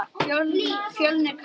Fjölnir kann sitt fag.